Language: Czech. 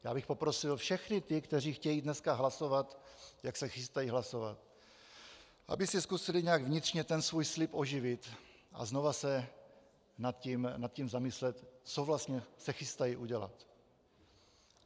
Já bych poprosil všechny ty, kteří chtějí dneska hlasovat, jak se chystají hlasovat, aby si zkusili nějak vnitřně ten svůj slib oživit a znova se nad tím zamyslet, co vlastně se chystají udělat.